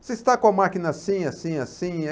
Você está com a máquina assim, assim, assim?